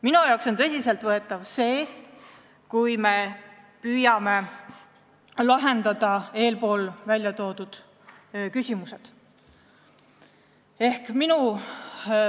Minu jaoks on tõsiselt võetav see, kui me püüame eespool välja toodud küsimused lahendada.